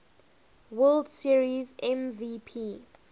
world series mvp